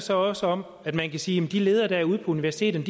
så også om at man kan sige at de ledere der er ude på universiteterne